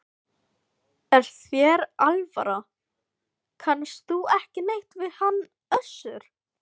Er þér alvara, kannast þú ekki neitt við hann Össur?